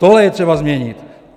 Tohle je třeba změnit.